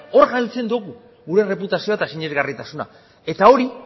hor galtzen dugu gure erreputazioa eta sinesgarritasuna eta hori